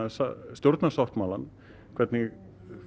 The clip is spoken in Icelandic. stjórnarsáttmálann hvernig